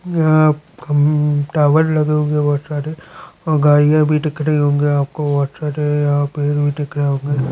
यहाँ खम टावर लगे हुए बहुत सारे और गड़िया भी दिख रही होगी आपको बहुत सारे यहाँ पर दिख--